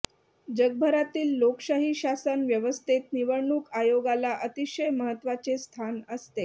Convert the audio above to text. जगभरातील लोकशाही शासन व्यवस्थेत निवडणूक आयोगाला अतिशय महत्त्वाचे स्थान असते